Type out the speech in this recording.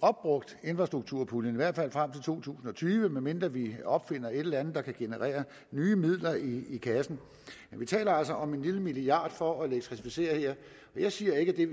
opbrugt infrastrukturpuljen i hvert fald frem til to tusind og tyve medmindre vi opfinder et eller andet der kan generere nye midler i kassen vi taler altså om en lille milliard kroner for at elektrificere her jeg siger ikke